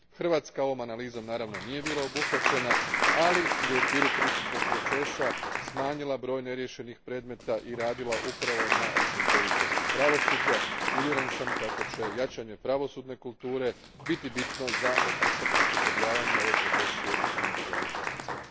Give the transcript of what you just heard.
Hrvatska ovom analizom, naravno, nije bila obuhvaćena, ali je u okviru pristupnog procesa smanjila broj neriješenih predmeta i radila upravo na učinkovitosti pravosuđa i uvjeren sam kako će jačanje pravosudne kulture biti bitno za osposobljavanje ove profesije u svim državama članicama.